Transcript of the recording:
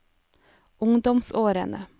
ungdomsårene